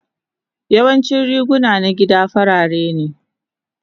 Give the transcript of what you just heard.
Yawancin riguna na gida farare ne.